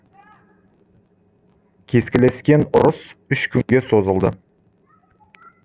кескілескен ұрыс үш күнге созылды